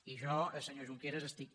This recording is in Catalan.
i jo senyor junqueras estic